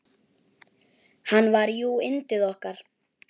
Hann var jú yndið okkar.